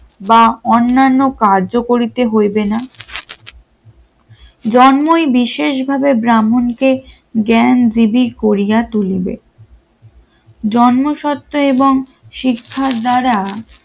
বা অন্যান্য কার্য করিতে হইবে না জন্মই বিশেষভাবে ব্রাহ্মণকে জ্ঞানজীবী করিয়া তুলিবে, জন্মসত্ত্ব এবং শিক্ষার দ্বারা